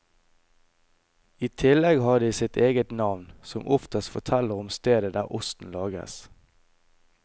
I tillegg har de sitt eget navn, som oftest forteller om stedet der osten lages.